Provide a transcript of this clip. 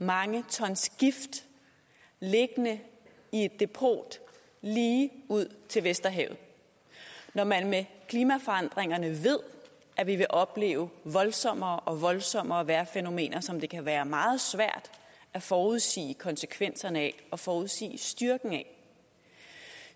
mange tons gift liggende i et depot lige ud til vesterhavet når man med klimaforandringerne ved at vi vil opleve voldsommere og voldsommere vejrfænomener som det kan være meget svært at forudsige konsekvenserne af og forudsige styrken af